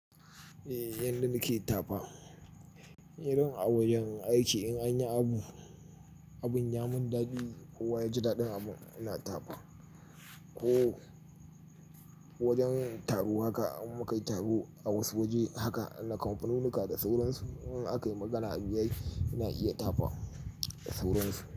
Eh yanda nake tafa, irin a wajen aiki in anyi abu, abin ya mun dadi kowa ya ji daɗin abun ina tafa. Ko wajen taro haka in muka yi taro a wasu waje haka na kamfaninuka da sauransu in aka yi magana abiyayi ina iya tafa sauransu.